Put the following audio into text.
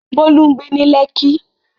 Bolu ń gbé ní Lekki.